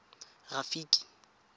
rafiki